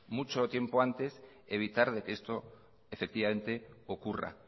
mucho tiempo antes evitar de que esto efectivamente ocurra